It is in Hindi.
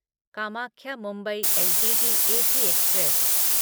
Kamakhya Mumbai LTT AC express